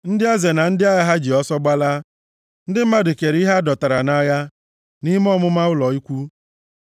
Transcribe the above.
ndị eze na ndị agha ha ji ọsọ gbalaa; ndị mmadụ kere ihe a dọtara nʼagha, nʼime ọmụma ụlọ ikwu.